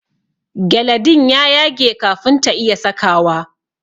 gyale din ya yage kafin ta iya sakawa.